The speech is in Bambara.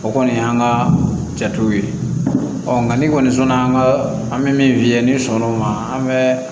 O kɔni y'an ka jatew ye ɔ nka ni kɔni sɔnn'an ka an bɛ min f'i ye n'i sɔnn'o ma an bɛ